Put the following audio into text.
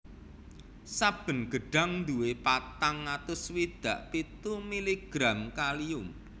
Saben gedhang nduwé patang atus swidak pitu miligram kalium